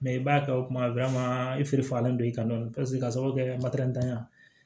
Mɛ i b'a kɛ o kuma i fari fagalen don i kan dɔɔnin paseke kasɔrɔ kɛ matɛrɛya ye